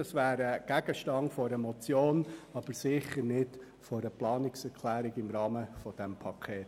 Das wäre Gegenstand einer Motion, aber sicher nicht im Rahmen dieses Pakets.